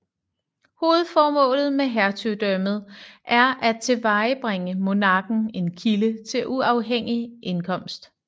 Hovedformålet med hertugdømmet er at tilvejebringe monarken en kilde til uafhængig indkomst